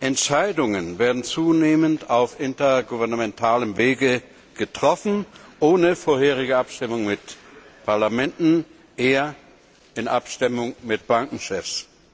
Entscheidungen werden zunehmend auf intergouvernementalem Wege getroffen, ohne vorherige Abstimmung mit Parlamenten, eher in Abstimmung mit Bankenchefs.